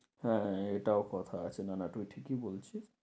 হ্যাঁ হ্যাঁ হ্যাঁ এটাও কথা আছে না না, তুই ঠিকই বলছিস।